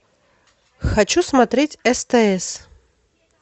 хочу смотреть стс